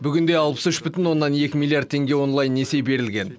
бүгінде алпыс үш бүтін оннан екі миллиард теңге онлайн несие берілген